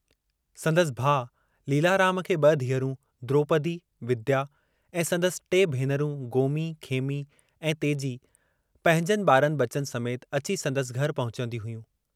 संदसि भाउ लीलाराम खे ब धीअरूं, द्रोपदी, विद्या ऐं संदसि टे भेनरुं गोमी, खेमी ऐं तेजी पंहिजन बारनि बचनि समेत अची संदसि घर पहुचंदियूं हुयूं।